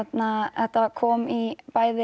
þetta kom í bæði